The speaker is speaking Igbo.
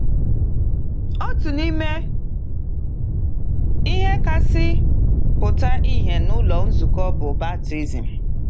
Otu n’ime ihe kasị pụta ìhè n’ụlọ nzukọ bụ baptism.